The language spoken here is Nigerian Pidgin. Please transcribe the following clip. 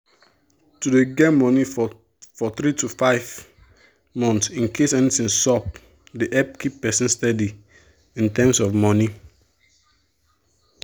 to dey get money for for 3-6 month incase anything sup dey help keep person steady in terms of money.